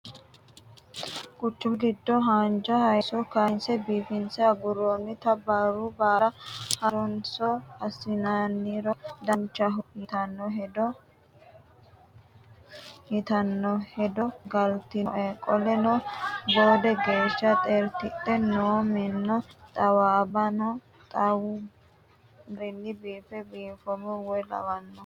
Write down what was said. Quchumu giddo haanja hayiso kayinse biifinse aguronnitta barru baalla harunso assinniro danchaho yitano hedo galtinoe qoleno boode geeshsha xertidhe noo minna xawabbano xawadu garinni fiine fanomero woyya lawanoe.